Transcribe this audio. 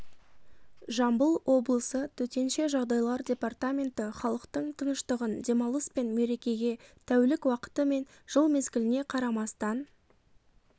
жамбыл облысы төтенше жағдайлар департаменті халықтың тыныштығын демалыс пен мерекеге тәулік уақыты мен жыл мезгіліне қарамастан